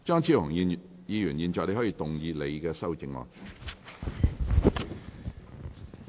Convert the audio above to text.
張超雄議員，你現在可以動議你的修正案。